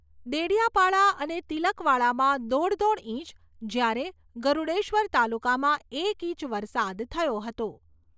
ડેડિયાપાડા અને તિલકવાડામાં દોઢ દોઢ ઇંચ, જ્યારે ગરૂડેશ્વર તાલુકામાં એક ઇંચ વરસાદ થયો હતો.